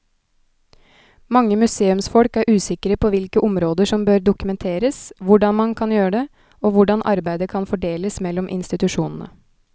Mange museumsfolk er usikre på hvilke områder som bør dokumenteres, hvordan man kan gjøre det og hvordan arbeidet kan fordeles mellom institusjonene.